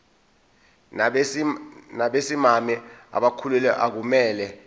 nabesimame abakhulelwe akumele